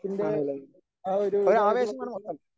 ആണ്‌ ല്ലേ ഇപ്പോ ആവേശമാണ് മൊത്തം.